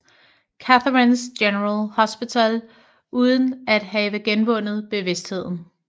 Catharines General Hospital uden at have genvundet bevidstheden